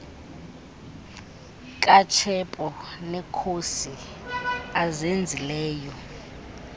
katshepo neekhosi azenzileyo